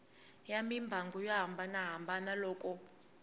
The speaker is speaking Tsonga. ya mimbangu yo hambanahambana loko